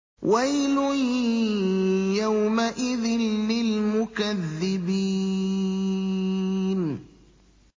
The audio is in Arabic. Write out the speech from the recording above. وَيْلٌ يَوْمَئِذٍ لِّلْمُكَذِّبِينَ